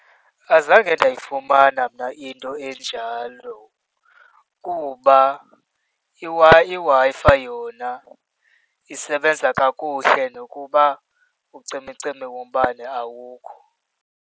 Azange ndayifumana mna into enjalo kuba iWi-Fi yona isebenza kakuhle nokuba ucimicimi wombane awukho.